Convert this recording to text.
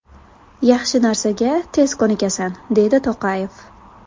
Yaxshi narsaga tez ko‘nikasan”, deydi To‘qayev.